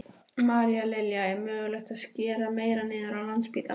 María Lilja: Er mögulegt að skera meira niður á Landspítalanum?